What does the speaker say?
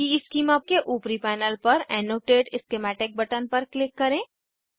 schema के ऊपरी panel पर एनोटेट स्कीमेटिक बटन पर क्लिक करें